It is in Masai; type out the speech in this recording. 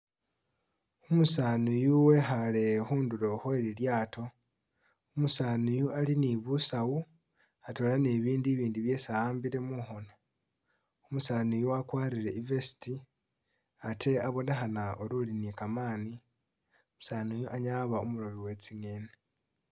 Umusaani uyu wekhale khundulo Khwe lilyaato, umusaani uyu ali ni busawu atwela ni bibindu ibindi byesi a'ambile mukhono, umusaani uyu wakwalire I'vest ate abonekhana nga uli ni kamani, umusaani uyu anyala waba umulobi we tsi'ngeni